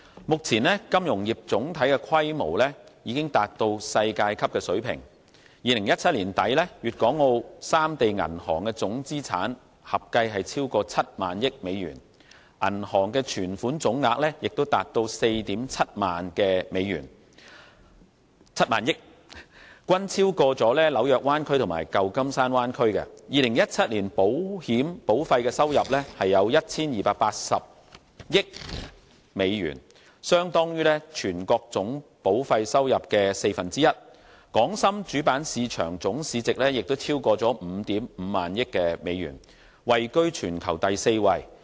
目前金融業總體的規模已經達到世界級水平 ，2017 年年底，粵港澳三地銀行總資產合計超過 70,000 億美元，銀行存款總額也達到 47,000 億美元，均超過紐約灣區和舊金山灣區 ；2017 年保險保費收入有 1,280 億美元，相當於全國總保費收入的四分之一；港深主板市場總市值也超過 55,000 億美元，位居全球第四位。